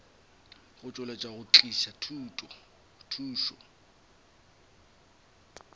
go tšweletša go tliša thušo